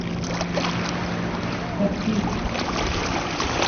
таксист